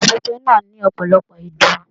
Ibùsùn pipẹ náà ní ọpọlọpọ idún.